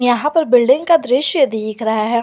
यहां पर बिल्डिंग का दृश्य दिख रहा है।